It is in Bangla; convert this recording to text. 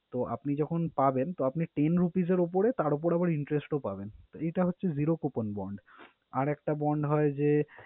তো, আপনি যখন পাবেন তো তিন rupees এর উপরে তার উপরে আবার interest ও পাবেন। তো এটা হচ্ছে zero coupon bond । আর একটা bond হয় যে